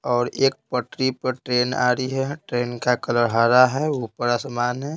और एक पटरी पर ट्रेन आ रही है ट्रेन का कलर हरा है ऊपर आसमान है।